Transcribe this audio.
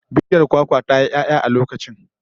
Bishiyar kwakwa ta yi 'ya'ya a lokacin